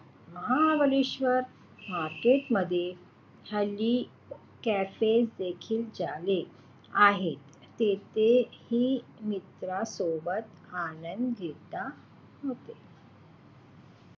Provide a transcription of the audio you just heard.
Mahabaleshwar market मध्ये हल्ली cafe देखील झाले आहेत तेथे ही मित्रांसोबत आनंद घेता येतो.